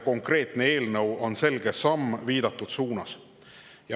Konkreetne eelnõu on selge samm viidatud suunas.